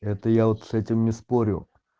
это я вот с этим не спорю